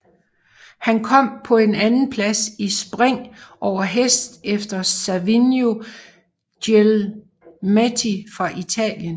Han kom på en andenplads i Spring over hest efter Savino Guglielmetti fra Italien